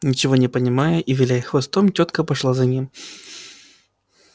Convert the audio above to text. ничего не понимая и виляя хвостом тётка пошла за ним